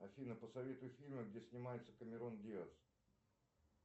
афина посоветуй фильмы где снимается камерон диаз